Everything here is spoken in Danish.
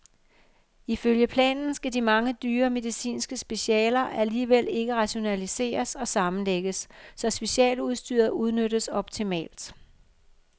Ifølge planen skal de mange dyre medicinske specialer alligevel ikke rationaliseres og sammenlægges, så specialudstyret udnyttes optimalt.